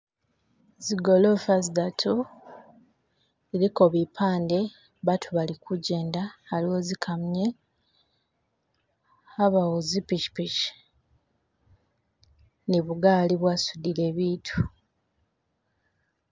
Zigolofa zidatu ziliko bipande baatu bali kujenda haliwo zi kamunye habawo zi pichipichi ni bugaali bwasudile biitu.